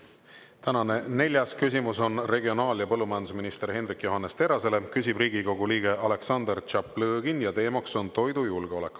Tänane neljas küsimus on regionaal- ja põllumajandusminister Hendrik Johannes Terrasele, küsib Riigikogu liige Aleksandr Tšaplõgin, ja teemaks on toidujulgeolek.